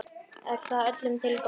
Er það öllum til góðs?